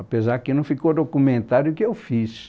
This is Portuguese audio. Apesar que não ficou documentado que eu fiz.